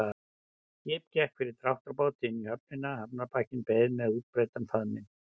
Skip gekk fyrir dráttarbáti inn á höfnina, hafnarbakkinn beið með útbreiddan faðminn.